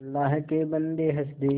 अल्लाह के बन्दे हंस दे